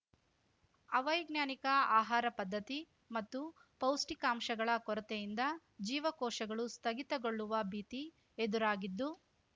ಅವೈಜ್ಞಾನಿಕ ಆಹಾರ ಪದ್ಧತಿ ಮತ್ತು ಪೌಷ್ಟಿಕಾಂಶಗಳ ಕೊರತೆಯಿಂದ ಜೀವಕೋ ಶಗಳು ಸ್ಥಗಿತಗೊಳ್ಳುವ ಭೀತಿ ಎದುರಾಗಿದ್ದು